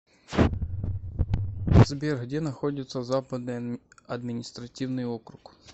сбер где находится западный административный округ